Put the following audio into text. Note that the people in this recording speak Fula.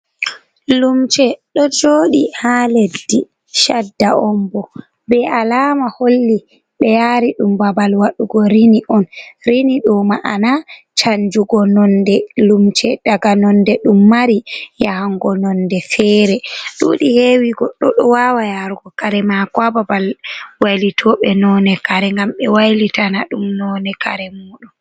Lumce do joɗi ha leɗɗi, shaɗɗa on bo. Be alama holli be yari ɗum babal waɗugo rini on. Rini ɗo ma'ana canjugo nonde lumce ɗaga nonɗe ɗum mari yahango nonɗe fere. Ɗuɗi hewi goɗɗo do wawa yarugo kare mako ha babal wailitobe none kare gam be wailitana ɗum none kare muɗum.